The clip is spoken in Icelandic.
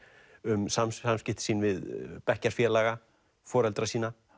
um samskipti sín við bekkjarfélaga foreldra sína